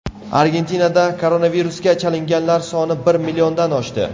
Argentinada koronavirusga chalinganlar soni bir milliondan oshdi.